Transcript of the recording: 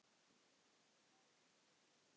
Spyr hvort gæinn sé niðri.